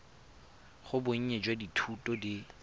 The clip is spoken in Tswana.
ga bonnye jwa dithuto di